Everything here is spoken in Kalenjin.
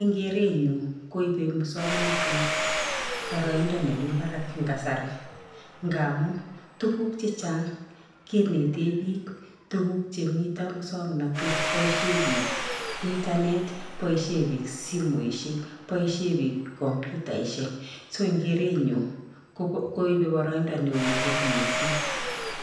En kerenyun koibe muswoknotet boroindoi nemii barak eng kasari ngamun tukuk chechang kineten biik tukuk chemiten muswoknot, boishen biik internet boishe biik simoishek boishe bik komputaishek, so en kerenyun koibe boroindo neo missing.